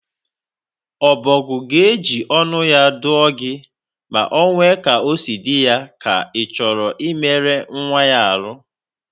Ọbọgwụ ga-eji ọnụ ya dụọ gị ma onwe ka osi dị ya, ka ịchọ imelụ nyanwa arụ